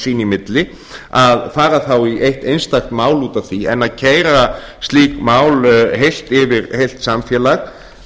sín í milli að fara þá í eitt einstakt mál út af því en að keyra slík mál heilt yfir heilt samfélag